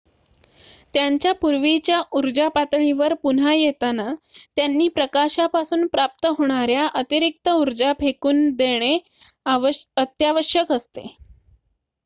त्यांच्या पूर्वीच्या ऊर्जा पातळीवर पुन्हा येताना त्यांनी प्रकाशापासून प्राप्त होणार्‍या अतिरिक्त ऊर्जा टाकून देणे अत्यावश्यक असते